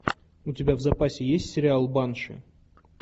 у тебя в запасе есть сериал банши